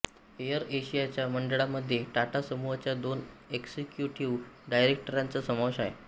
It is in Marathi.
एअर एशियाच्या मंडळामध्ये टाटा समूहाच्या दोन एक्झिक्यूटिव्ह डायरेक्टरांचा समावेश आहे